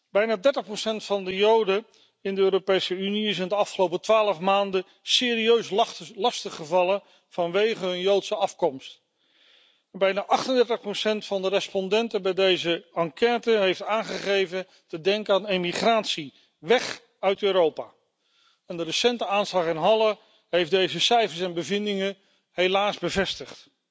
Bijna 30 van de Joden in de Europese Unie is in de afgelopen twaalf maanden serieus lastiggevallen vanwege zijn Joodse afkomst. Bijna 38 van de respondenten van deze enquête heeft aangegeven te denken aan emigratie, weg uit Europa. De recente aanslag in Halle heeft deze cijfers en bevindingen helaas bevestigd.